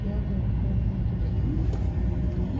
jogo mapuojo jii e mbui ,